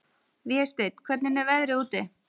Vésteinn, hvernig er veðrið úti?